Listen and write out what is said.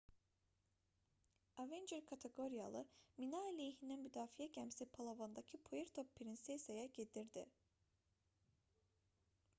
avenger kateqoriyalı mina-əleyhinə müdafiə gəmisi palavandakı puerto prinsesaya gedirdi